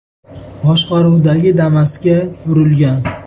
boshqaruvidagi Damas’ga urilgan.